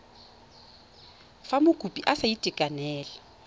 fa mokopi a sa itekanela